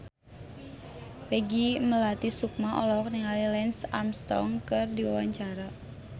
Peggy Melati Sukma olohok ningali Lance Armstrong keur diwawancara